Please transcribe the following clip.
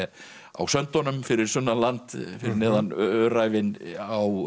á söndunum fyrir sunnan land fyrir neðan Öræfin á